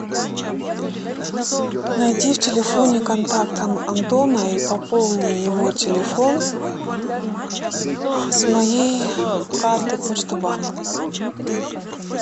найди в телефоне контакт антона и пополни его телефон с моей карты почта банк